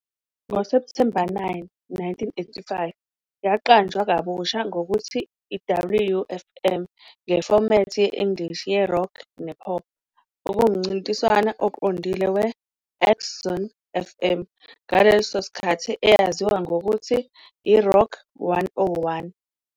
NgoSepthemba 9, 1985, yaqanjwa kabusha ngokuthi "WFM" ngefomethi ye-English ye-rock ne-pop, okuwumncintiswano oqondile we-XHSON-FM, ngaleso sikhathi eyaziwa ngokuthi "i-Rock 101".